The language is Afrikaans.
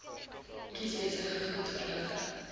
kies besige goedverligte